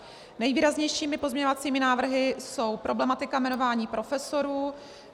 Nejvýraznějšími pozměňovacími návrhy je problematika jmenování profesorů.